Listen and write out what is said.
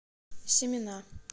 семена